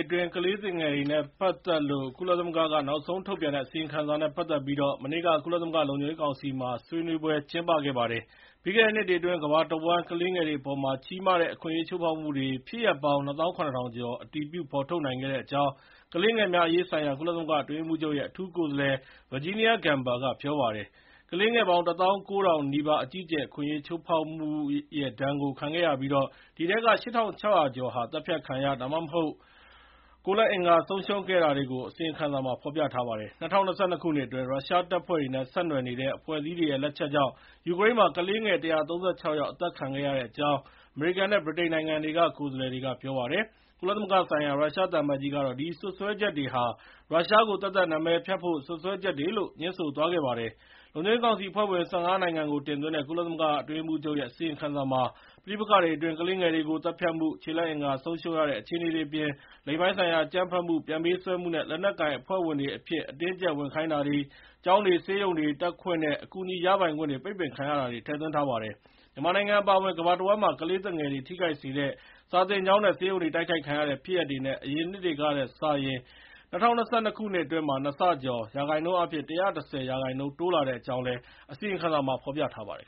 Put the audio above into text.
အတွင်း ကလေးသူငယ်တွေနဲ့ပတ်သက်လို့ ကုလသမဂ္ဂက နောက်ဆုံးထုတ်ပြန်တဲ့ အစီရင်ခံစာနဲ့ ပတ်သက်ပြီး မနေ့က ကုလသမဂ္ဂလုံခြုံရေးကောင်စီမှာ ဆွေးနွေးပွဲကျင်းပခဲ့ပါတယ်။ ပြီးခဲ့တဲ့နှစ်အတွင်း ကမ္ဘာတဝှမ်း ကလေးငယ်တွေအပေါ် ကြီးမားတဲ့ အခွင့်အရေး ချိုးဖေါက်မှုတွေ ဖြစ်ရပ်ပေါင်း ၂၇၀၀၀ ကျော် အတည်ပြု ဖေါ်ထုတ်နိုင်ခဲ့တဲ့အကြောင်း ကလေးငယ်များအရေးဆိုင်ရာ ကုလသမဂ္ဂအတွင်းရေးမှူးချုပ်ရဲ့ အထူးကိုယ်စားလှယ် Virginia Gamba က ပြောပါတယ်။ ကလေးငယ်ပေါင်း ၁၉၀၀၀ နီးပါး အကြီးအကျယ် အခွင့်အရေး ချိုးဖေါက်မှုရဲ့ ဒဏ်ကို ခံခဲ့ရပြီး အဲဒီထဲက ၈၆၀၀ ကျော်ဟာ သတ်ဖြတ်ခံရ၊ ဒါမှမဟုတ် ကိုယ်လက်အင်္ဂါဆုံးရှုံးခဲ့တာတွေကို အစီရင်ခံစာမှာ ဖေါ်ပြထားပါတယ်။ ၂၀၂၂ ခုနှစ်အတွင်း ရုရှားတပ်ဖွဲ့တွေနဲ့ ဆက်နွယ်နေတဲ့ အဖွဲ့အစည်းတွေရဲ့ လက်ချက်ကြောင့် ယူကရိန်းမှာ ကလေးငယ် ၁၃၆ ယောက် အသတ်ခံခဲ့ရတဲ့အကြောင်း အမေရိကန်နဲ့ ဗြိတိန်နိုင်ငံတွေက ကိုယ်စားလှယ်တွေက ပြောပါတယ်။ ကုလသဂ္ဂဆိုင်ရာ ရုရှားသံအမတ်ကြီးကတော့ ဒီစွပ်စွဲချက်တွေဟာ ရုရှားကို သပ်သပ်နာမည်ဖျက်တဲ့ စွပ်စွဲချက်တွေလို့ ငြင်းဆိုသွားပါတယ်။ လုံခြုံရေးကောင်စီ အဖွဲ့ဝင် ၁၅ နိုင်ငံကို တင်သွင်းတဲ့ ကုလသမဂ္ဂအတွင်းရေးမှူးချုပ်ရဲ့ အစီရင်ခံစာမှာ ပဋိပက္ခတွေအတွင်း ကလေးငယ်တွေကို သတ်ဖြတ်မှု၊ ခြေလက်အင်္ဂါ ဆုံးရှုံးရတဲ့ အခြေအနေတွေအပြင် လိင်ပိုင်းဆိုင်ရာ အကြမ်းဖက်မှု၊ ပြန်ပေးဆွဲမှုနဲ့ လက်နက်ကိုင်အဖွဲ့ဝင်တွေအဖြစ် အတင်းအကြပ် ဝင်ခိုင်းတာတွေ၊ ကျောင်းတွေ ဆေးရုံတွေတက်ခွင့်နဲ့ အကူအညီရပိုင်ခွင့် ပိတ်ပင်ခံရတာတွေ ထည့်သွင်းထားပါတယ်။ မြန်မာနိုင်ငံအပါအဝင် ကမ္ဘာတဝှမ်းမှာ ကလေးသူငယ်တွေ ထိခိုက်စေတဲ့ စာသင်ကျောင်းနဲ့ ဆေးရုံတွေ တိုက်ခိုက်ခံရတဲ့ ဖြစ်ရပ်တွေ အရင်နှစ်တွေကနဲ့ စာရင် ၂၀၂၂ ခုနှစ်အတွင်း နှစ်ဆကျော်၊ ရာခိုင်နှုန်းအားဖြင့် ၁၁၀ ရာခိုင်နှုန်း တိုးလာတဲ့အကြောင်း အစီရင်ခံစာမှာ ဖေါ်ပြထားပါတယ်